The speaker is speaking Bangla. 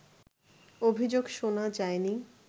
অভিযোগ শোনা যায়নি